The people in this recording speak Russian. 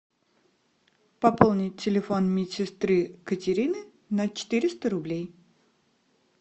пополнить телефон медсестры катерины на четыреста рублей